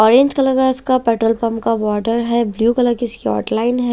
Orange colour का इसका petrol pump का वोटर है ब्लू कलर इसके आउटलाइन है।